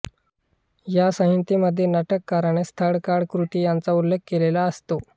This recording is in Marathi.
या संहितेमध्ये नाटककाराने स्थळकाळ कृती यांचा उल्लेख केलेला असतो